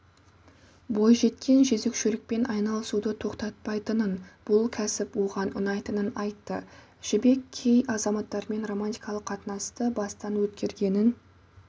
бойжеткен жөзекшелікпен айналысуды тоқтатпайтынын бұл кәсіп оған ұнайтынын айтты жібек кей азаматтармен романтикалық қатынасты бастан өткергенін